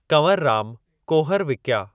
कंवरराम कुहर विकिया।